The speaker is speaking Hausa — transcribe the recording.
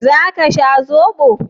Za ka sha zoɓo?